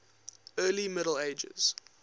early middle ages